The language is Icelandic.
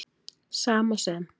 Sama sem